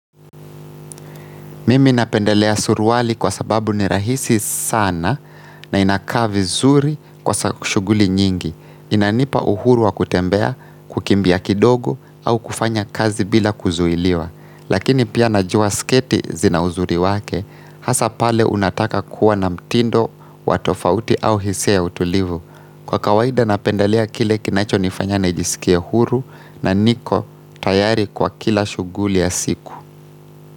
Mimi napendelea suruwali kwa sababu ni rahisi sana na inakaa vi zuri kwa shuguli nyingi. Inanipa uhuru wa kutembea, kukimbia kidogo au kufanya kazi bila kuzuhiliwa. Lakini pia najua sketi zina uzuri wake, hasa pale unataka kuwa na mtindo, watofauti au hisia utulivu. Kwa kawaida napendelea kile kinacho nifanya na jisikie huru na niko tayari kwa kila shuguli ya siku.